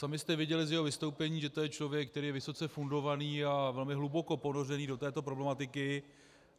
Sami jste viděli z jeho vystoupení, že to je člověk, který je vysoce fundovaný a velmi hluboko ponořený do této problematiky.